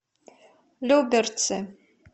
люберцы